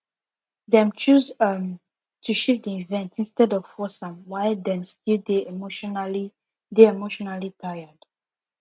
dem choose um to shift the event instead of force am while dem still dey emotionally dey emotionally tired